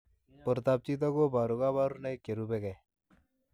Portoop chitoo kobaruu kabarunaik cherubei ak